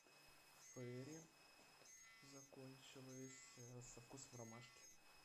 фейри закончилось со вкусом ромашки